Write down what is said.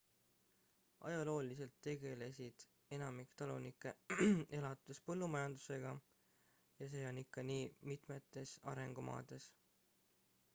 ajalooliselt tegelised enamik talunikke elatuspõllumajandusega ja see on ikka nii mitmetes arengumaades